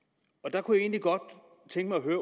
jeg kunne egentlig godt tænke mig